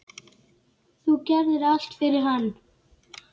Þú gerðir allt fyrir hann.